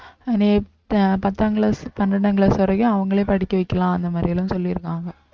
அஹ் பத்தாம் class பன்னிரண்டாம் class வரைக்கும் அவங்களே படிக்க வைக்கலாம் அந்த மாதிரி எல்லாம் சொல்லிருக்காங்க